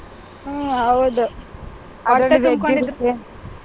ಹ್ಮ್ ಹೌದು .